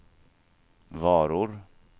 varor